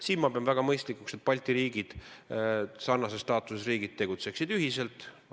Siin ma pean väga mõistlikuks, et Balti riigid, sarnases staatuses riigid, tegutseksid ühiselt.